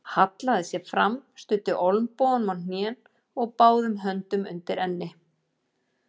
Hallaði sér fram, studdi olnbogunum á hnén og báðum höndum undir enni.